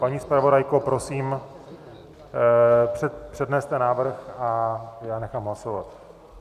Paní zpravodajko, prosím, předneste návrh a já nechám hlasovat.